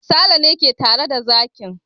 Sale ne ke tare da zakin.